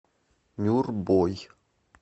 нюрбой